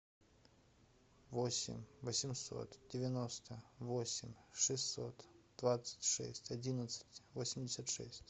восемь восемьсот девяносто восемь шестьсот двадцать шесть одиннадцать восемьдесят шесть